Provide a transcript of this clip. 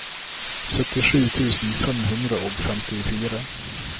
syttisju tusen fem hundre og femtifire